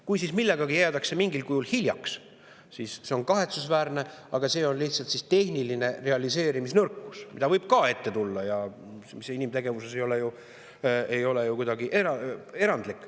Kui jäädakse millegagi mingil kujul hiljaks, siis see on kahetsusväärne, aga see on lihtsalt tehniline realiseerimisnõrkus, mida võib ka ette tulla ja mis inimtegevuses ei ole ju kuidagi erandlik.